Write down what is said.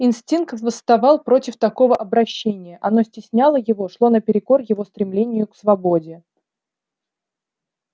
инстинкт восставал против такого обращения оно стесняло его шло наперекор его стремлению к свободе